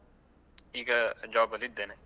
ಈಗ job ಅಲ್ಲಿ ಇದ್ದೇನೆ.